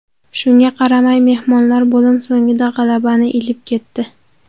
Shunga qaramay mehmonlar bo‘lim so‘ngida g‘alabani ilib ketdi.